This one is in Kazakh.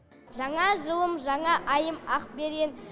жаңа жылым жаңа айым ақберен